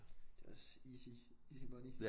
Det er også easy easy money